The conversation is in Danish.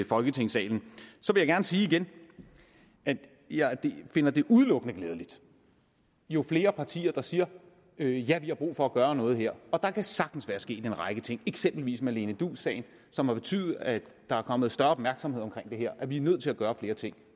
folketingssalen så vil jeg gerne sige igen at jeg finder det udelukkende glædeligt jo flere partier der siger ja ja vi har brug for at gøre noget her og der kan sagtens være sket en række ting eksempelvis som i marlene duus sagen som har betydet at der er kommet større opmærksomhed omkring det her og at vi er nødt til at gøre flere ting